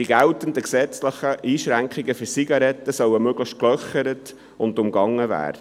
Die geltenden gesetzlichen Einschränkungen für Zigaretten sollen möglichst «gelöchert» und umgangen werden.